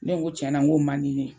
Ne ko tiɲɛna n ko man di n ye.